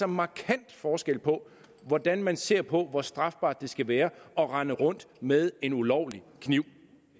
markant forskel på hvordan man ser på hvor strafbart det skal være at rende rundt med en ulovlig kniv